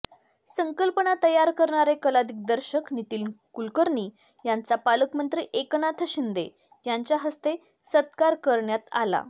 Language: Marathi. संकल्पना तयार करणारे कलादिग्दर्शक नितीन कुलकर्णी यांचा पालकमंत्री एकनाथ शिंदे यांच्या हस्ते सत्कार करण्यात आला